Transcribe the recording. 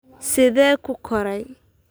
Sidee ku koray?